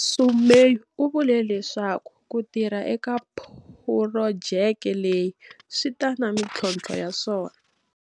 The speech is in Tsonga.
Sumay u vule leswaku ku tirha eka phurojeke leyi swi ta na mithlontlho ya swona.